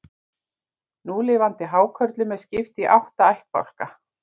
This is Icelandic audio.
Núlifandi hákörlum er skipt í átta ættbálka.